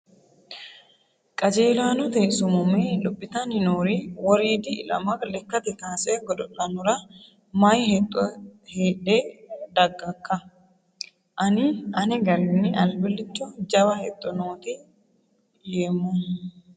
Qajeellanote sumume lophittanni noori woriidi ilama lekkate kaase godo'lanora mayi hexxo hadhe dagakka ? Ani ane garinni albilicho jawa hexxo nooti yeemmohu.